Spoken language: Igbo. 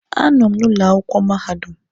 A nọ m ụlọ akwụkwọ mahadum.